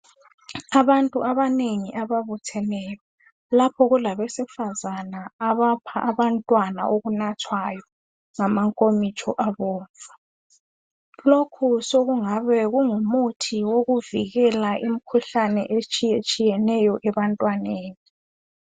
Abantu abanengi ababutheneyo lapho kulabesifazana abapha abantwana okunathwayo ngamankomitsho abomvu, lokhu sokungabe kungumuthi owokuvikela imikhuhlane otshiyetshiyeneyo ebantwaneni.